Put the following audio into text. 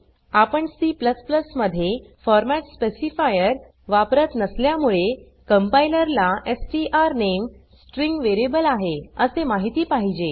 आपण C मध्ये format specifier वापरत नसल्यामुळे कंपाईलर ला स्ट्रानेम स्ट्रिंग वेरियेबल आहे असे माहिती पाहिजे